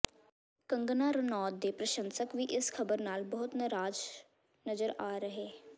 ਕੰਗਨਾ ਰਣੌਤ ਦੇ ਪ੍ਰਸ਼ੰਸਕ ਵੀ ਇਸ ਖਬਰ ਨਾਲ ਬਹੁਤ ਨਿਰਾਸ਼ ਨਜ਼ਰ ਆ ਰਹੇ